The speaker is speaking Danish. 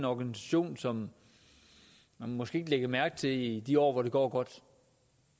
organisation som man måske ikke lægger mærke til i de år hvor det går godt